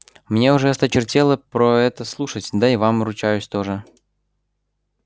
мне уже осточертело про это слушать да и вам ручаюсь тоже